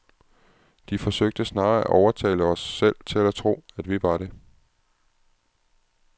De forsøgte snarere at overtale os selv til at tro, at vi var det.